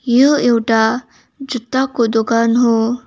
याे एउटा जुत्ताको दोकान हाे।